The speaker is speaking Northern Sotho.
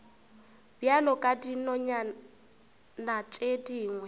bjalo ka dinonyana tše dingwe